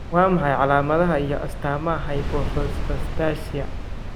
Waa maxay calaamadaha iyo astaamaha Hypophosphatasia?